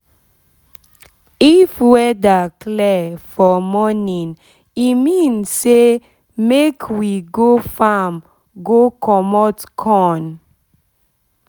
if weather clear for morning e mean say make we go farm go commot corn